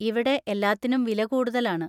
ഇവിടെ എല്ലാത്തിനും വില കൂടുതലാണ്.